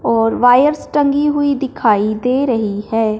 और वायर्स टंगी हुई दिखाई दे रही है।